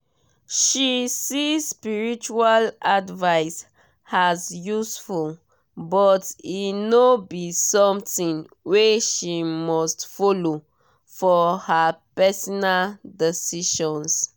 she see spiritual advice as useful but e no be something wey she must follow for her personal decisions.